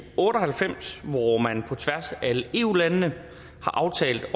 otte og halvfems hvor man på tværs af eu landene har aftalt